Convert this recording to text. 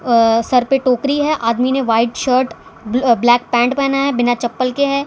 अ सर पे टोकरी है आदमी ने व्हाइट शर्ट ब्ल ब्लैक पैंट पहना है बिना चप्पल के है।